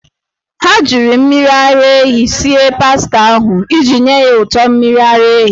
Ha ji mmiri ara ehi sie pasta ahụ iji nye ya ụtọ mmiri ara ehi.